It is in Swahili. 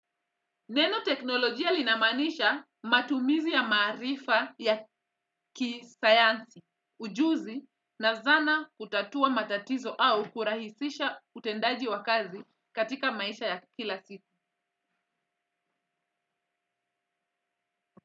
Neno teknolojia linamaanisha matumizi ya maarifa ya kisayansi ujuzi na zana kutatua matatizo au kurahisisha utendaji wa kazi katika maisha ya kila siku.